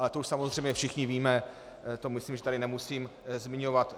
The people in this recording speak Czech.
Ale to už samozřejmě všichni víme, to myslím, že tu nemusím zmiňovat.